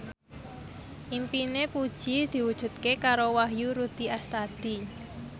impine Puji diwujudke karo Wahyu Rudi Astadi